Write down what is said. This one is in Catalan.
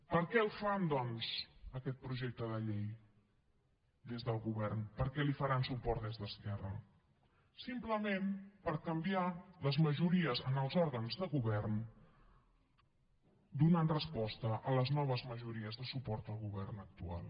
per què el fan doncs aquest projecte de llei des del govern per què li faran suport des d’esquerra simplement per canviar les majories en els òrgans de govern per donar resposta a les noves majories de suport al govern actual